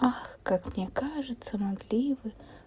ах как мне кажется могли вы